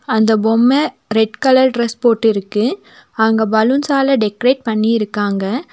அந்த பொம்மை red colour dress போட்டுருக்கு அங்க பலூன்ஸ்ஸால டெக்கரெட் பண்ணிருக்காங்க.